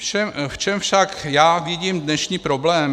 V čem však já vidím dnešní problém?